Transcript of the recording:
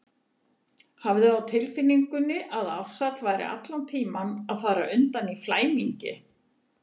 Hafði á tilfinningunni að Ársæll væri allan tímann að fara undan í flæmingi.